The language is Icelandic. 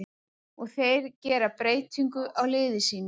Og þeir gera breytingu á liði sínu.